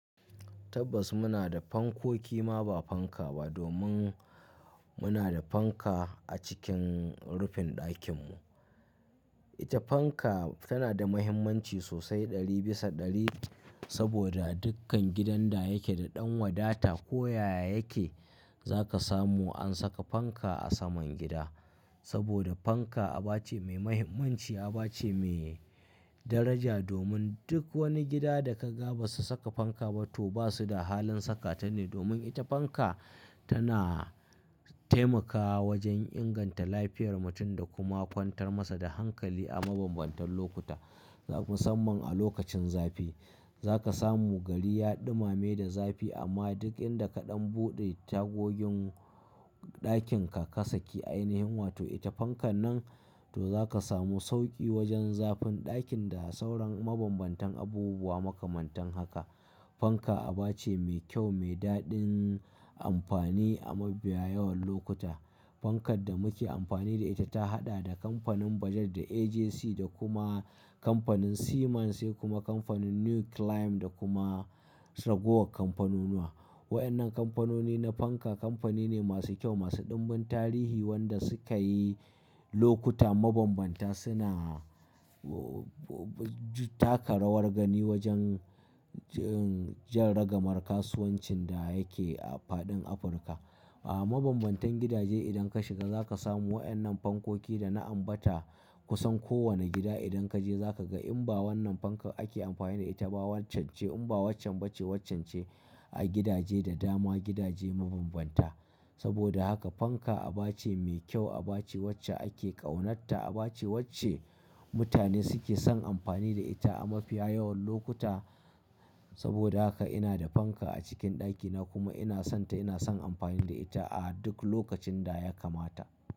Tabbas muna da fankoki ma ba fanka ba domin muna da fanka a cikin rufin ɗakinmu. Ita fanka tana da mahimmanci sosai ɗari bisa ɗari saboda dukkan gidan da yake da ɗan wadata ko yaya yake za ka samu an saka fanka a saman gida. Saboda fanka aba ce mai mahimmanci aba ce mai daraja domin duk wani gida da ka ga ba su saka fanka ba to ba su da halin saka ta ne domin ita fanka tana taimakawa wajen inganta lafiyar mutum da kuma kwantar masa da hankali a mabambantan lokuta musamman a lokacin zafi. Za ka samu gari ya ɗumame da zafi amma duk inda kaɗan buɗe tagogin ɗakin ka kasa ki ainihin wato ita fanka nan to za ka samu sauƙi wajen zafin ɗakin da sauran mabambantan abubuwa makamantan haka. Fanka aba ce mai kyau mai daɗin amfani a mafiya yawan lokuta. Fankar da muke amfani da ita ta haɗa da kamfanin Budget da AGC da kuma kamfanin Siemens sai kuma kamfanin New Clime da kuma Ragowa kamfanunuwa. Waƴannan kamfanoni na fanka kamfani ne masu kyau masu ɗumbin tarihi wanda suka yi lokuta mabambanta suna, oh, taka rawar gani wajen, jm, jan ragamar kasuwancin da yake a faɗin Afirka. A mabambantan gidaje idan ka shiga za ka samu waƴannan fankoki da na ambata kusan kowane gida idan ka je za ka ga in ba wannan fankar ake amfani da ita ba waccen ce in ba waccan ba ce waccen ce a gidaje da dama gidaje mabambanta. Saboda haka fanka aba ce mai kyau aba ce wacce ake ƙaunarta aba ce wacce mutane suke son amfani da ita a mafiya yawan lokuta. Saboda haka ina da fanka a cikin ɗakina kuma ina sonta ina son amfani da ita a duk lokacin da ya kamata.